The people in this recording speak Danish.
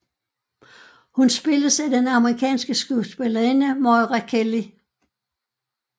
Hun spilles af den amerikanske skuespillerinde Moira Kelly